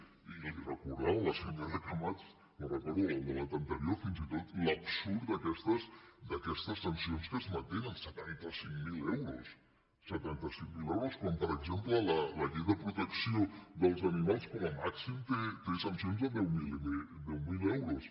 i li ho recordava la senyora camats me’n recordo en el debat anterior fins i tot l’absurd d’aquestes sancions que es mantenen setanta cinc mil euros setanta cinc mil euros quan per exemple la llei de protecció dels animals com a màxim té sancions de deu mil euros